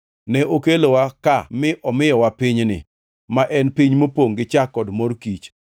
Ne okelowa ka mi omiyowa pinyni, ma en piny mopongʼ gi chak kod mor kich;